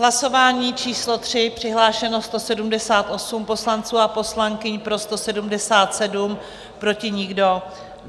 Hlasování číslo 3, přihlášeno 178 poslanců a poslankyň, pro 177, proti nikdo.